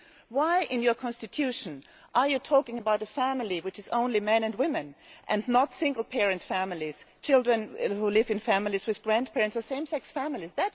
Why in your constitution are you talking about a family which is only men and women and not single parent families, children who live in families with grandparents or same sex families?